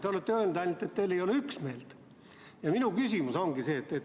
Te olete ainult öelnud, et teil ei ole üksmeelt.